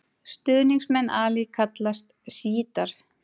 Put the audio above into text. Stuðningsmenn Ali kallast sjítar.